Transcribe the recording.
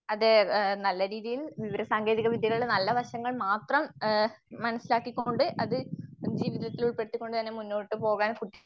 അതെ നല്ല രീതിയിൽ വിവരസാങ്കേതികവിദ്യകള് നല്ല വശങ്ങൾ മാത്രം മനസ്സിലാക്കിക്കൊണ്ട് അത് ജീവിതത്തിൽ ഉൾപ്പെടുത്തിക്കൊണ്ടുതന്നെ മുന്നോട്ട് പോകാൻ